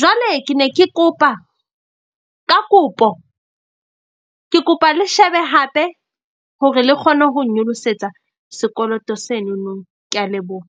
jwale ke ne ke kopa, ka kopo ke kopa le shebe hape hore le kgone ho nnyolosetsa sekoloto senono. Ke a leboha.